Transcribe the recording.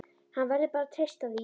Hann verður bara að treysta því.